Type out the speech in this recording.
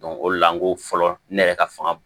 o de la n ko fɔlɔ ne yɛrɛ ka fanga